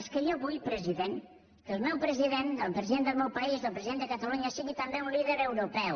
és que jo vull president que el meu president el president del meu país el president de catalunya sigui també un líder europeu